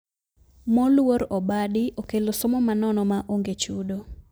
Moluor obadi okelo somo ma nono ma onge chudo